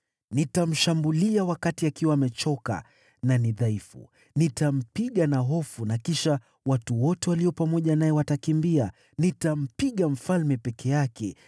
Nitamshambulia wakati akiwa amechoka na ni dhaifu. Nitampiga na hofu, na kisha watu wote walio pamoja naye watakimbia. Nitampiga mfalme peke yake